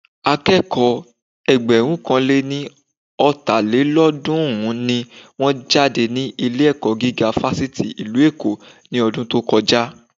Akẹ́kọ̀ọ́ Ẹgbẹ̀rúnkanléní-ọ̀tàlélọ́ọ̀dún-run ni wọ́n jáde ní ilé-ẹ̀kọ́ gíga Fáṣítì ìlú Èkó ní ọdún tó kọjá